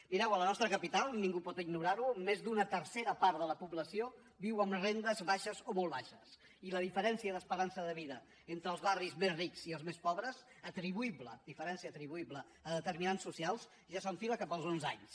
mireu a la nostra capital ningú pot ignorar ho més d’una tercera part de la població viu amb rendes baixes o molt baixes i la diferència d’esperança de vida entre els barris més rics i els més pobres atribuïble diferència atribuïble a determinants socials ja s’enfila cap als onze anys